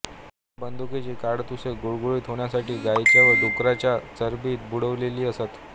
त्या बंदुकांची काडतुसे गुळगुळीत होण्यासाठी गायीच्या वा डुक्कराच्या चरबीत बुडवलेली असत